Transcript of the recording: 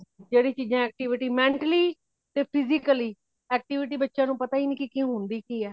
ਜੇੜੀ ਚੀਜਾਂ activity, gently ਤੇ physical activity ਬੱਚਿਆਂ ਨੂੰ ਪਤਾ ਹੀ ਨਹੀਂ ਹੋਂਦੀ ਕਿਹੇ